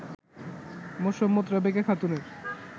মোসাম্মৎ রেবেকা খাতুনের